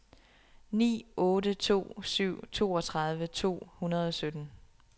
ni otte to syv toogtredive to hundrede og sytten